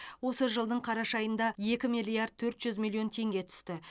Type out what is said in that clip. осы жылдың қараша айында екі миллиард төрт жүз миллион теңге түсті